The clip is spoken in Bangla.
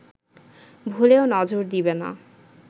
ভুলেও নজর দিবে না